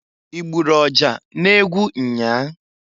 Igburu ọja n'egwu nnyaa?